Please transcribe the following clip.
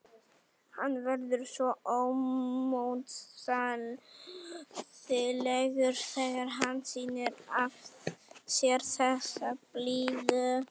Hann verður svo ómótstæðilegur þegar hann sýnir af sér þessa blíðu.